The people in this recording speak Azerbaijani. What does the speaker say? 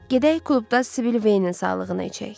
Gedək klubda Sibil Veynin sağlığına içək.